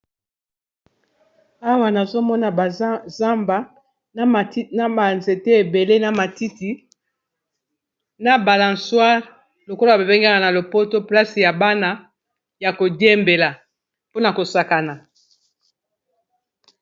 Awa nazomona ba zamba na ba nzete ebele na matiti na balensoire lokolo babengaka na lopoto place ya bana ya kodiembela mpona kosakana.